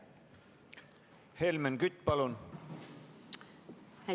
Helmen Kütt, palun!